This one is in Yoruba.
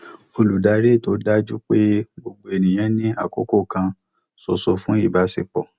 olùdarí ètò dájú pé gbogbo ènìyàn ní àkókò kan ṣoṣo fún ìbáṣepọ